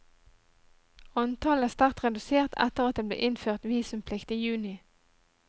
Antallet er sterkt redusert etter at det ble innført visumplikt i juni.